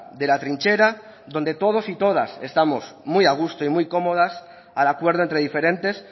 de la trinchera donde todos y todas estamos muy a gusto y muy cómodas al acuerdo entre diferentes